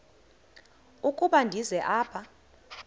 ukuba ndize apha